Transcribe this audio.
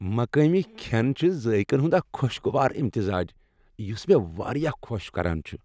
مقٲمی کھین چھ ذایقن ہند اکھ خوشگوار امتزاج یس مےٚ واریاہ خوش کران چھ ۔